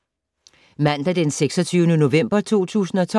Mandag d. 26. november 2012